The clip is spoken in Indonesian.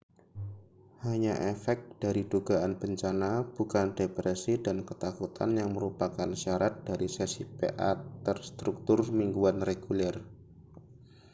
hanya efek dari dugaan bencana bukan depresi dan ketakutan yang merupakan syarat dari sesi pa terstruktur mingguan reguler